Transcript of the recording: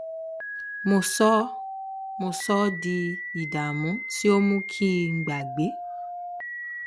mo sọ ọ mo sọ ọ di ìdààmú tí ó mú kí n gbàgbé